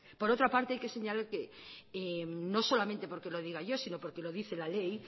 por otra parte hay que señalar que no solamente porque lo diga yo sino porque lo dice la ley